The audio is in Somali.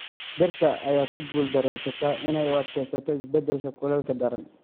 Dhirta ayaa ku guuldareysata inay u adkeysato isbeddelka kuleylka daran.